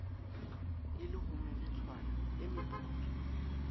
e le homeritshana e meputswa